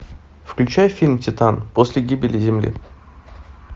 включай фильм титан после гибели земли